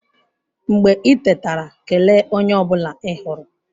Mgbe i tetara, kelee onye ọ bụla ị hụrụ.